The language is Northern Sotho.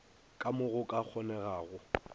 ka mo go ka kgonegago